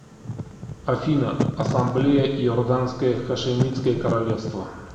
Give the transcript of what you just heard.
афина ассамблея иорданское хашимитское королевство